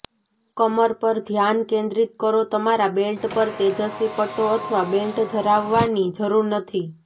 કમર પર ધ્યાન કેન્દ્રિત કરો તમારા બેલ્ટ પર તેજસ્વી પટ્ટો અથવા બેલ્ટ ધરાવવાની જરૂર નથી